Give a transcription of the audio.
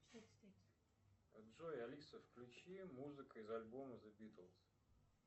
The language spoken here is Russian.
джой алиса включи музыка из альбома зе битлз